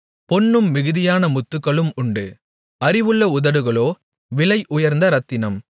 பொன்னும் மிகுதியான முத்துக்களும் உண்டு அறிவுள்ள உதடுகளோ விலை உயர்ந்த இரத்தினம்